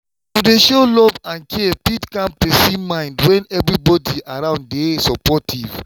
to dey show love and care fit calm person mind when everybody around dey supportive.